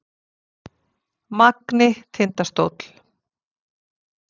Magni- Tindastóll